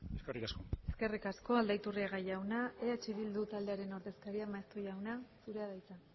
eskerrik asko eskerrik asko aldaiturriaga jauna eh bildu taldearen ordezkaria maeztu jauna zurea da hitza